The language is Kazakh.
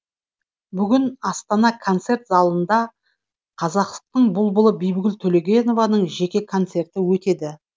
бүгін астана концерт залында қазақтың бұлбұлы бибігүл төлегенованың жеке концерті өтеді